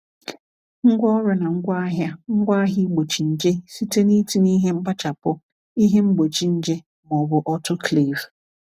Ngwaọrụ na ngwaahịa ngwaahịa igbochi nje, site n’itinye ihe mkpachapụ, ihe igbochi nje, ma ọ bụ autoclave.